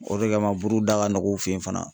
O de kama buru da ka nɔgɔ u fɛ yen fana.